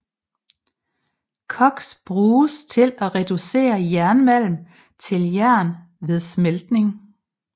Koks bruges til at reducere jernmalm til jern ved smeltning